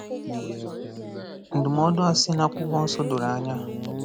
Ndụmọdụ a si n'Akwụkwọ Nsọ doro anya.